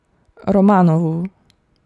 Romanovu.